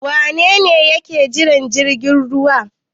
Wane ne yake jiran jirgin ruwa?